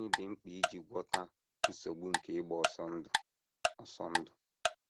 Gịnị Dị Mkpa Iji Gwọta Nsogbu nke Ịgba Ọsọ Ndụ? Ọsọ Ndụ?